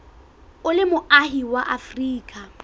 o le moahi wa afrika